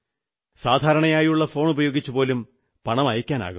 സാധാരണയായുള്ള ഫോണുപയോഗിച്ചുപോലും പണം അയയ്ക്കാനാകും